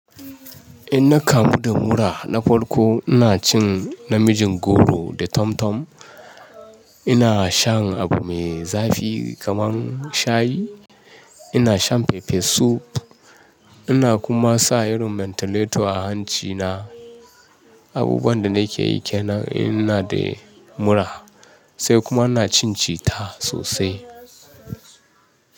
In na kamu da mura na farko, ina cin namijin goro da tomtom, ina shan abu mai zafi kamar shayi, ina shan pepper soup, ina kuma sa irin mentilator a hancina. Abubuwan da na ke yi kenan in ina da mura sai kuma ina cin citta sosai.